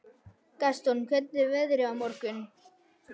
Gaston, hvernig er veðrið á morgun?